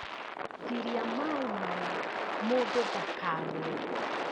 Giria maĩ maya mũndũ ndakagwe